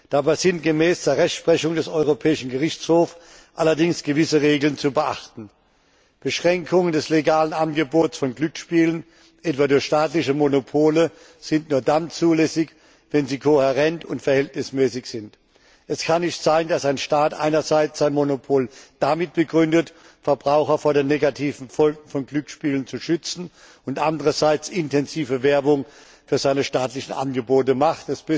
Dabei sind gemäß der Rechtsprechung des Europäischen Gerichtshofs allerdings gewisse Regeln zu beachten Beschränkungen des legalen Angebots von Glücksspielen, etwa durch staatliche Monopole, sind nur dann zulässig, wenn sie kohärent und verhältnismäßig sind. Es kann nicht sein, dass ein Staat einerseits sein Monopol damit begründet, Verbraucher vor den negativen Folgen von Glücksspielen zu schützen, und andererseits intensive Werbung für seine staatliche Angebote macht.